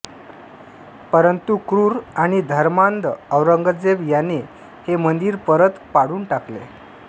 परंतु क्रूर आणि धर्मांध औरंगजेब याने हे मंदिर परत पाडून टाकले